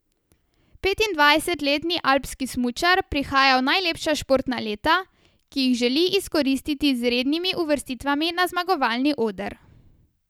Petindvajsetletni alpski smučar prihaja v najlepša športna leta, ki jih želi izkoristiti z rednimi uvrstitvami na zmagovalni oder.